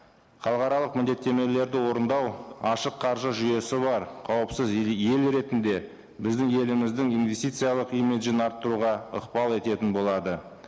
халықаралық міндеттемелерді орындау ашық қаржы жүйесі бар қауіпсіз ел ретінде біздің еліміздің инвестициялық имиджін арттыруға ықпал ететін болады